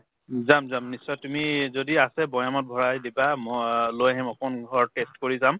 যাম যাম নিশ্চয় তুমি যদি আছে বয়ামত ভৰাই দিবা ম লৈ আহিম অকন ঘৰত taste কৰি যাম